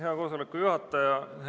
Hea koosoleku juhataja!